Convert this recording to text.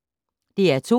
DR2